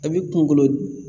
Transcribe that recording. A bi kunkolo